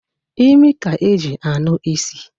Imi ka e ji anụ isi.